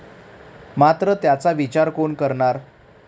मात्र त्याचा विचार कोण करणार?